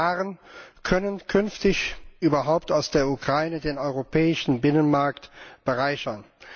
Welche Waren können künftig überhaupt aus der Ukraine den europäischen Binnenmarkt bereichern?